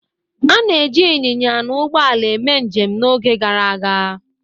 A na-eji ịnyịnya na ụgbọ ala eme njem n'oge gara aga.